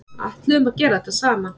Ætluðum að gera þetta saman